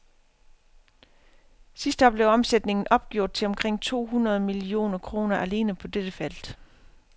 Sidste år blev omsætningen opgjort til omkring to hundrede millioner kroner alene på dette felt.